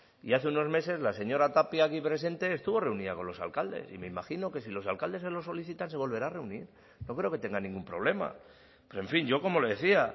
y hace unos meses la señora tapia aquí presente estuvo reunida con los alcaldes y me imagino que si los alcaldes se lo solicitan se volverá a reunir no creo que tenga ningún problema pero en fin yo como le decía